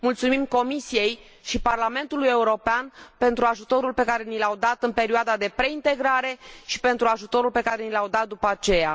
Mulțumim Comisiei și Parlamentului European pentru ajutorul pe care ni l au dat în perioada de preintegrare și pentru ajutorul pe care ni l au dat după aceea.